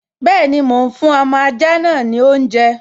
Bẹ́ẹ̀ni, mò ún fún ọmọ ajá náà ní oúnjẹ